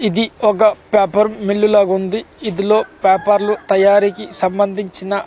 ఇది ఒక paper mill లాగా ఉంది ఇందులో పేపర్ లు తయారీకి సంబంధించిన.